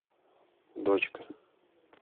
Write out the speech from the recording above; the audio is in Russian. дочка